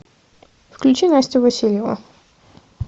включи настю васильеву